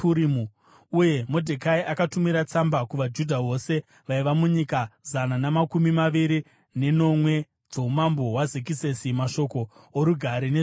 Uye Modhekai akatumira tsamba kuvaJudha vose vaiva munyika zana namakumi maviri nenomwe dzoumambo hwaZekisesi, mashoko orugare nezvokwadi,